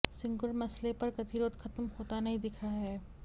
सिंगुर मसले पर गतिरोध खत्म होता नहीं दिख रहा है